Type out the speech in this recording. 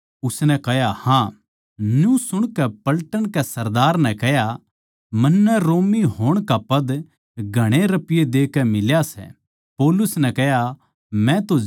न्यू सुणकै पलटन के सरदार नै कह्या मन्नै रोमी होण का ओद्दा घणे रपिये देकै मिल्या सै पौलुस नै कह्या मै तो जन्म तै रोमी सूं